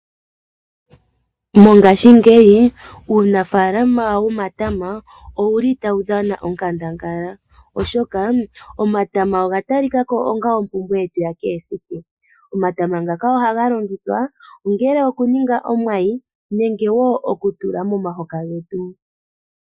Mongashingeyi uunafaalama womatama otawu dhana onkandangala, oshoka omatama oga talika ko onga ompumbwe yetu yakehe esiku. Omatama ohaga longithwa okutulwa momahoka getu.